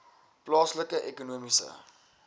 plaaslike ekonomiese